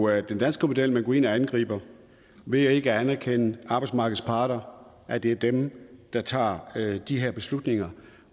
er jo den danske model man går ind og angriber ved ikke at anerkende arbejdsmarkedets parter at det er dem der tager de her beslutninger